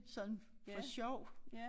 Sådan for sjov